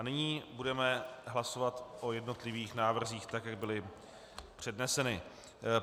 A nyní budeme hlasovat o jednotlivých návrzích, tak jak byly předneseny.